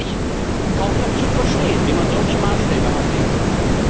Es ist eigentlich kaum noch zu verstehen, wie man solche Maßstäbe anlegen kann.